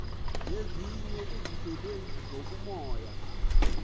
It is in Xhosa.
nezinye izisebenzi zobumoya